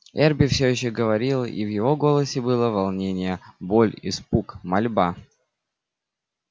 эрби все ещё говорил и в его голосе было волнение боль испуг мольба